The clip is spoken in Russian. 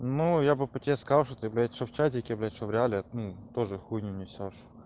ну я бы по тебе сказал что ты блять что в чатике блять что в реале ну тоже хуйню несёшь